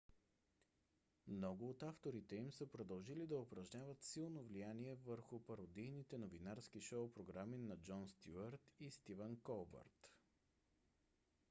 много от авторите им са продължили да упражняват силно влияние върху пародийните новинарски шоу програми на джон стюарт и стивън колбърт